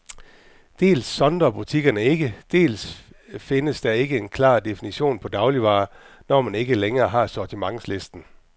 Dels sondrer butikkerne ikke, dels findes der ikke en klar definition på dagligvarer, når man ikke længere har sortimentslisten.